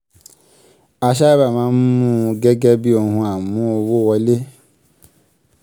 a sáábà máa ń mú un gẹ́gẹ́ bí ohun amú-owó-wọlé.